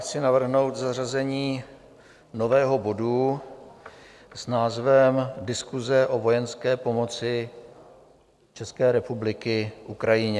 Chci navrhnout zařazení nového bodu s názvem Diskuse o vojenské pomoci České republiky Ukrajině.